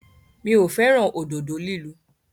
Mi ò fẹ́ràn òdodo lílu.